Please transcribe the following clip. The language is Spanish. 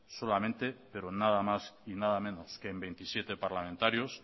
solamente pero nada más y nada menos que en veintisiete parlamentarios